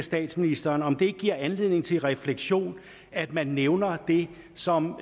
statsministeren om det ikke giver anledning til refleksion at man nævner det som